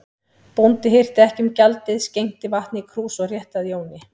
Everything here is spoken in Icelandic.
Bóndi hirti ekki um gjaldið, skenkti vatni í krús og rétti að Jóni.